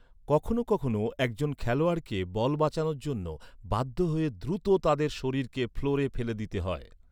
কখনও কখনও একজন খেলোয়াড়কে বল বাঁচানোর জন্য বাধ্য হয়ে দ্রুত তাদের শরীরকে ফ্লোরে ফেলে দিতে হয়।